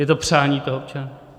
Je to přání toho občana.